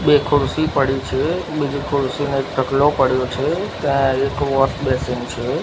બે ખુરશી પડી છે બીજી ખુરશી નો એક ઢગલો પડ્યો છે ત્યાં એક વૉશ બેસીન છે.